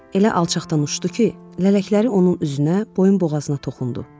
Elə alçaqdan uçdu ki, lələkləri onun üzünə, boyun boğazına toxundu.